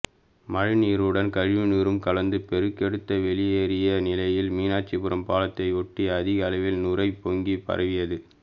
மழைநீருடன் கழிவுநீரும் கலந்து பெருக்கெடுத்து வெளியேறிய நிலையில் மீனாட்சிபுரம் பாலத்தை ஒட்டி அதிக அளவில் நுரை பொங்கிப் பரவியது